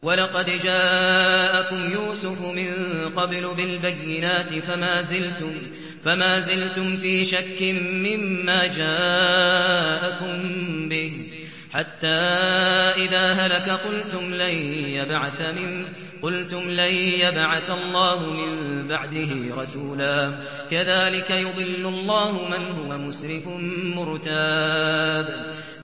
وَلَقَدْ جَاءَكُمْ يُوسُفُ مِن قَبْلُ بِالْبَيِّنَاتِ فَمَا زِلْتُمْ فِي شَكٍّ مِّمَّا جَاءَكُم بِهِ ۖ حَتَّىٰ إِذَا هَلَكَ قُلْتُمْ لَن يَبْعَثَ اللَّهُ مِن بَعْدِهِ رَسُولًا ۚ كَذَٰلِكَ يُضِلُّ اللَّهُ مَنْ هُوَ مُسْرِفٌ مُّرْتَابٌ